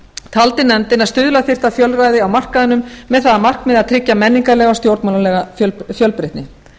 taldi nefndin að stuðla þyrfti að fjölræði á markaðnum með það að markmiði að tryggja menningarlega og stjórnmálalega fjölbreytni